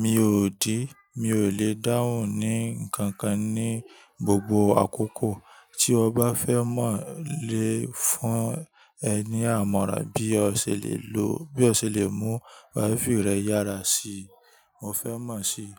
mi ò dí, mi ò lè dáhùn ni ǹkankan ní gbogbo àkókò. Tí o bá fẹ́ mọ̀ lè fún ẹ ní àmọ̀ràn bí o ṣe lè lo, bí o ṣe lè mú wifi rẹ yára sí i. Mo fẹ́ mọ̀ sí i